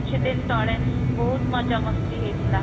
କିଛି ଦିନ ତଳେ ବହୁତ ମଜା ,ମସ୍ତି ହେଇଥିଲା